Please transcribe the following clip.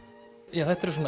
já þetta eru svona